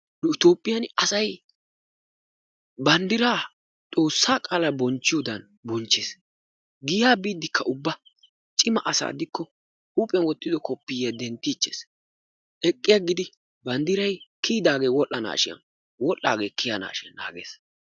Nu Toophphiyan asay banddiraa Xoossa qaalaa bonchchiyoodan bonchchees. Giyaa biiddekka ubba cima asa gidikko huuphiyaan wottido kopiyaa denttichees. Eqqi aggidi banddiray kiyyidage wodhdhanashin, wodhdhidaage kiyaanashin naagees.